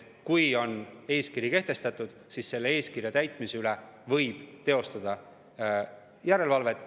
Kui on eeskiri kehtestatud, siis eeskirja täitmise üle võib teostada järelevalvet.